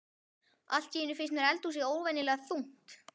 Allt í einu finnst mér eldhúsið óvenjulega þungt.